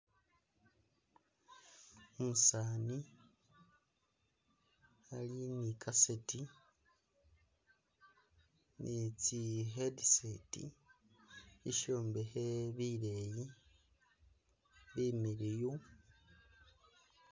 Umusani ali ni e cassette ne tsi'headset ishombekhe sileyi similiyu.